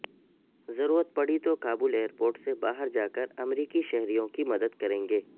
ضرورت پڑی تو کابل ایئرپورٹ سے باہر جا کر امریکی شہریوں کی مدد کریں گے